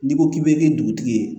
N'i ko k'i bɛ kɛ dugutigi ye